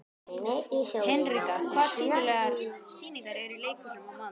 Hinrika, hvaða sýningar eru í leikhúsinu á mánudaginn?